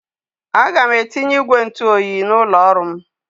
Aga m etinye ígwè ntụoyi n'ụlọ ọrụ m.